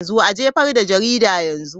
A jefar da jaridar yanzu!